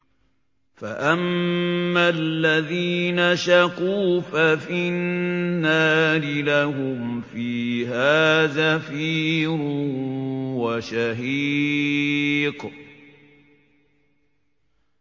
فَأَمَّا الَّذِينَ شَقُوا فَفِي النَّارِ لَهُمْ فِيهَا زَفِيرٌ وَشَهِيقٌ